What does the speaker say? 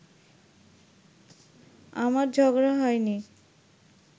আমার ঝগড়া হয়নি